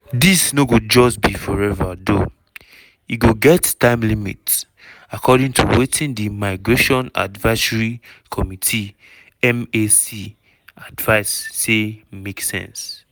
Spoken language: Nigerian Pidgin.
dis no go just be forever tho e go get time limit according to wetin di migration advisory committee (mac) advice say make sense.